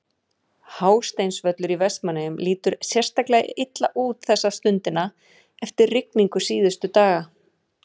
Hásteinsvöllur í Vestmannaeyjum lítur sérstaklega illa út þessa stundina eftir rigningu síðustu daga.